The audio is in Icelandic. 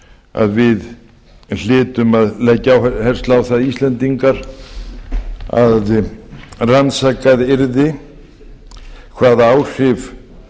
að við hlytum að leggja áherslu á það íslendingar að rannsakað yrði hvaða áhrif